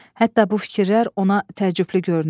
Hətta bu fikirlər ona təəccüblü görünür.